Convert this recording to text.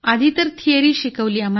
आधी तर थिअरी शिकवली